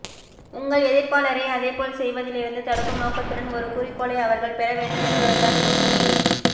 உங்கள் எதிர்ப்பாளரை அதேபோல் செய்வதிலிருந்து தடுக்கும் நோக்கத்துடன் ஒரு குறிக்கோளை அவர்கள் பெற வேண்டும் என்பதுதான் யோசனை